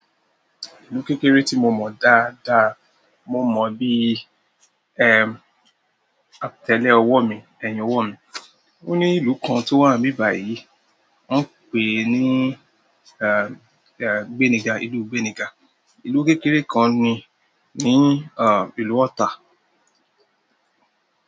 Ìlú kékeré tí mo mọ̀ dáadáa mo mọ̀ bí i, ẹ́ẹ̀, àtẹ́lẹ́ ọwọ́ mi, ẹ̀yìn owọ́ mí. Oni ìlú kan towa ni ibi bayi wọn n pe ni gbeniga ìlú gbeniga. Ìlú kékeré kan ni, ní ìlú Ọ̀tà.